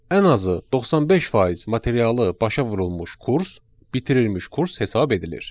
Ən azı 95% materialı başa vurulmuş kurs bitirilmiş kurs hesab edilir.